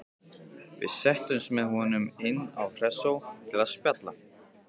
Við settumst með honum inn á Hressó til að spjalla.